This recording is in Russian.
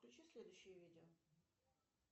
включи следующее видео